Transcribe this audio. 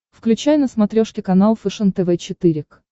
включай на смотрешке канал фэшен тв четыре к